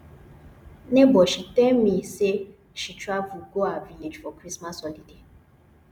nebor she tell me sey she travel go her village for christmas holiday